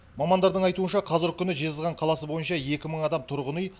мамандардың айтуынша қазіргі күні жезқазған қаласы бойынша екі мың адам тұрғын үй